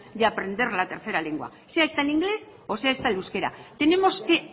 de aprender la tercera lengua sea esta en inglés o sea esta el euskera tenemos que